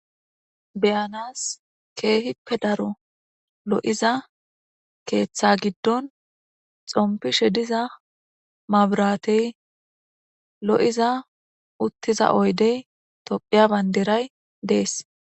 beyanas keehippe daro lo'iza keeththa giddon xompishe diza maburatey lo'iza uttiza oydey tophiya bayndiray dees